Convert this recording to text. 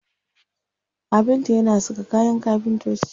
Kafinta yana saka kayan kafintoci.